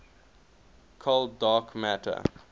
cold dark matter